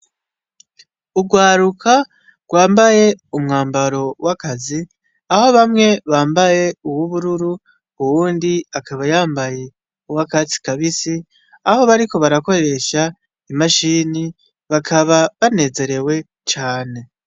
Urwaruka rwambaye umwambaro w'akazi aho bamwe bambaye uwubururu uwundi akaba yambaye uwa akatsi kabisi aho bariko barakoresha imashini bakaba banezerewe cane.